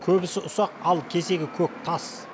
көбісі ұсақ ал кесегі көк тас